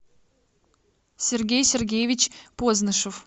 сергей сергеевич позднышев